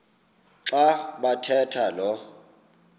xa bathetha lo